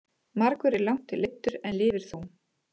Margur er langt leiddur en lifir þó.